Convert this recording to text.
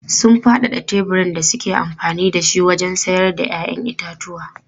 Sun faɗaɗa teburin da suke amfani da shi wajen sayar da 'ya'yan itatuwa.